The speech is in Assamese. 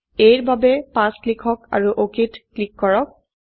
a ৰ বাবে ৫ লিখক আৰু অক ক্লিক কৰক